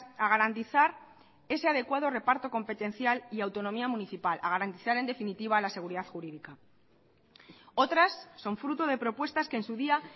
a garantizar ese adecuada reparto competencial y autonomía municipal a garantizar en definitiva la seguridad jurídica otras son fruto de propuestas que en su día